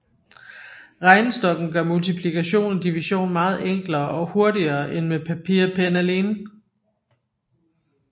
Regnestokken gør multiplikation og division meget enklere og hurtigere end med papir og pen alene